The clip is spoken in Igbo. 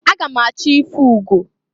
Aga m achọ ịfụ ugo.